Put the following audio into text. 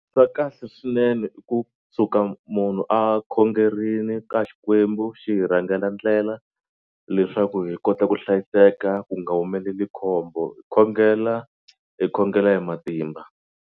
Swa kahle swinene i kusuka munhu a khongerini ka Xikwembu xi hi rhangela ndlela leswaku hi kota ku hlayiseka ku nga humeleli khombo hi khongela hi khongela hi matimba.